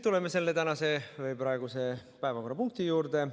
Tuleme selle praeguse päevakorrapunkti juurde.